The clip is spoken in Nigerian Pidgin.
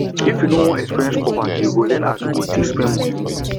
if you no wan experience poverty you go learn as you go dey spend moni